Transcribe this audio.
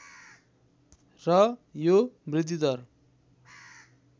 र यो वृद्धिदर